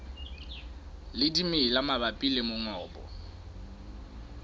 le dimela mabapi le mongobo